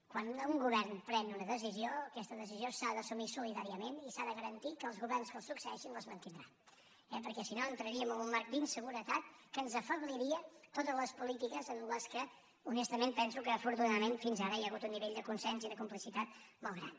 quan un govern pren una decisió aquesta decisió s’ha d’assumir solidàriament i s’ha de garantir que els governs que el succeeixin la mantindran eh perquè si no entraríem en un marc d’inseguretat que ens afebliria totes les polítiques en què honestament penso que afortunadament fins ara hi ha hagut un nivell de consens i de complicitat molt gran